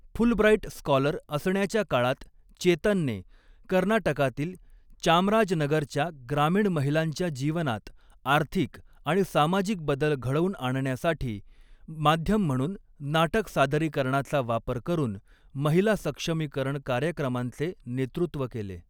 Fulbright scholar असण्याच्या काळात चेतनने, कर्नाटकातील चामराजनगरच्या ग्रामीण महिलांच्या जीवनात आर्थिक आणि सामाजिक बदल घडवून आणण्यासाठी, माध्यम म्हणून नाटक सादरीकरणाचा वापर करून महिला सक्षमीकरण कार्यक्रमांचे नेतृत्व केले.